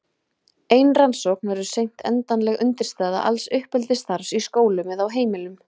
ein rannsókn verður seint endanleg undirstaða alls uppeldisstarfs í skólum eða á heimilum